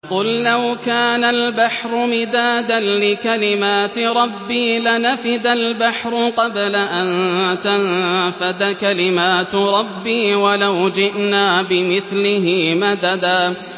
قُل لَّوْ كَانَ الْبَحْرُ مِدَادًا لِّكَلِمَاتِ رَبِّي لَنَفِدَ الْبَحْرُ قَبْلَ أَن تَنفَدَ كَلِمَاتُ رَبِّي وَلَوْ جِئْنَا بِمِثْلِهِ مَدَدًا